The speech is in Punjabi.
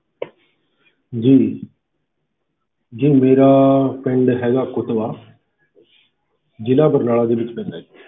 ਜੀ ਜੀ ਮੇਰਾ ਪਿੰਡ ਹੈਗਾ ਕੁਤਵਾ ਜ਼ਿਲ੍ਹਾ ਬਰਨਾਲਾ ਦੇ ਵਿੱਚ ਪੈਂਦਾ ਜੀ।